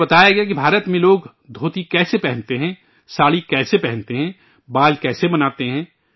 انہیں بتایا گیا کہ بھارت میں لوگ دھوتی کیسے پہنتے ہیں، ساڑی کیسے پہنتے ہیں، بال کیسے بناتے ہیں